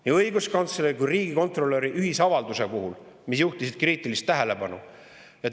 Nii õiguskantsler kui ka riigikontrolör juhtisid ühisavalduses kriitilist tähelepanu sellele.